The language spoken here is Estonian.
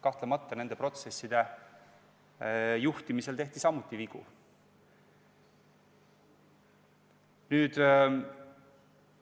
Kahtlemata nende protsesside juhtimisel tehti samuti vigu.